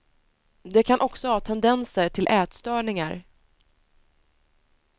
De kan också ha tendenser till ätstörningar.